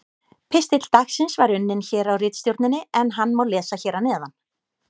Pistill dagsins var unninn hér á ritstjórninni en hann má lesa hér að neðan: